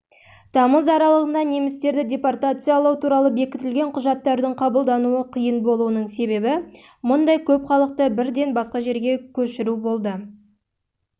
тамыз аралығында немістерді депортациялау туралы бекітілген құжаттардың қабылдануы қиын болуының себебі мұндай көп халықты бірден басқа